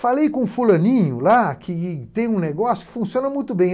Falei com o fulaninho lá, que tem um negócio, funciona muito bem.